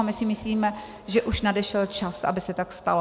A my si myslíme, že už nadešel čas, aby se tak stalo.